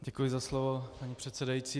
Děkuji za slovo, paní předsedající.